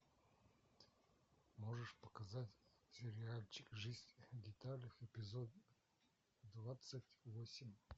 можешь показать сериальчик жизнь в деталях эпизод двадцать восемь